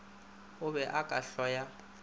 o be o ka hloya